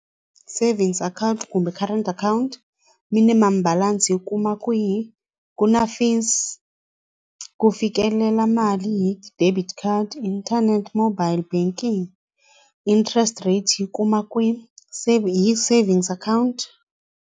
Savings account kumbe current account minimum balance yi kuma kwihi ku na fee ku fikelela mali hi debit card internet mobile banking interest rate yi kuma hi savings account.